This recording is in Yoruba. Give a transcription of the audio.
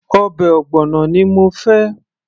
ọbẹ̀ ogbono ni mo fẹ́